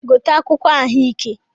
Gote akwụkwọ̇ ahụ ike a!